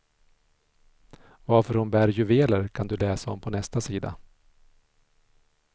Varför hon bär juveler kan du läsa om på nästa sida.